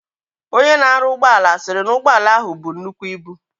Onye na aru ugboala siri na ugboala ahu bu nnukwu ibu.